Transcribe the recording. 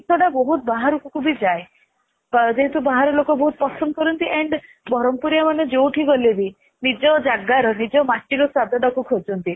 ଏ ନେଇ ଜିନିଷ ଟା ବାହାରକୁ ବି ଯାଏ ଯେହେତୁ ବାହାରେ ଲୋକ ବହୁତ ପସନ୍ଦ କରନ୍ତି and ବ୍ରହ୍ମପୁରିଆ ମାନେ ଯୋଉଠି ଗଲେ ବି ନିଜ ଜାଗା ର ନିଜ ମାଟିର ସ୍ଵାଦଟାକୁ ଖୋଜନ୍ତି